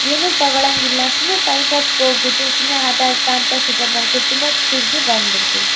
ಏನು ತಗೊಳಂಗಿಲ್ಲ ಸುಮ್ನೆ ಟೈಮ್ ಪಾಸ್ಗೆ ಹೋಗ್ಬಿಟ್ಟು ಸುಮ್ನ ಆಟ ಆಡ್ಕಂತಾ ಸೂಪರ್ ಮಾರ್ಕೆಟ್ ತಿರ್ಗಿ ಬಂದ್ಬಿಡ್ತಿವಿ.